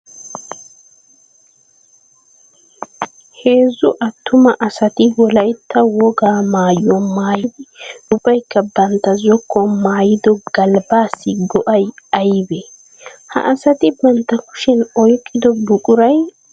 Heezzu atuma asatti wolaytta wogaa maayuwaa maayidi ubbaykka bantta zokuwan maayido galbbassi go'ay aybbe? Ha asatti bantta kushiyan oyqqido buquray aybbe?